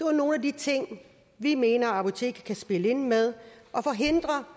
er nogle af de ting vi mener apoteket kan spille ind med og forhindre